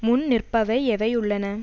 முன் நிற்பவை எவை உள்ளன